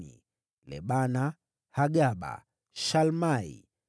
wazao wa Lebana, Hagaba, Shalmai,